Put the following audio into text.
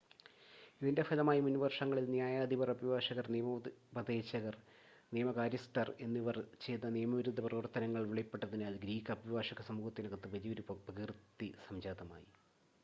ഇതിൻ്റെ ഫലമായി മുൻവർഷങ്ങളിൽ ന്യായാധിപർ അഭിഭാഷകർ നിയമോപദേശകർ നിയമ കാര്യസ്ഥർ എന്നിവർ ചെയ്ത നിയമവിരുദ്ധ പ്രവർത്തനങ്ങൾ വെളിപ്പെട്ടതിനാൽ ഗ്രീക്ക് അഭിഭാഷക സമൂഹത്തിനകത്ത് വലിയൊരു അപകീർത്തി സംജാതമായി